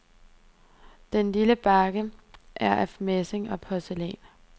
Den lille bakke er af messing og porcelæn.